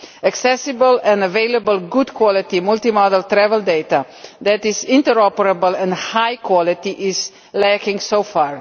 Accessible and available good-quality multimodal travel data that this interoperable and high quality is lacking so far.